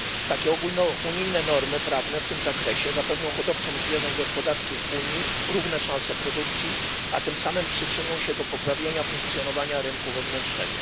Takie ogólnounijne normy prawne w tym zakresie zapewnią hodowcom zwierząt gospodarskich w Unii równe szanse produkcji, a tym samym przyczynią się do poprawienia funkcjonowania rynku wewnętrznego.